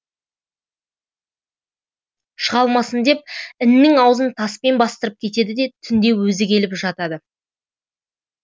шыға алмасын деп іннің аузын таспен бастырып кетеді де түнде өзі келіп жатады